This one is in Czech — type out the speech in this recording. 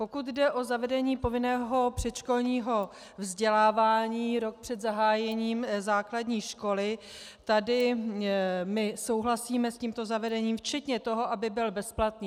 Pokud jde o zavedení povinného předškolního vzdělávání rok před zahájením základní školy, tady my souhlasíme s tímto zavedením včetně toho, aby byl bezplatný.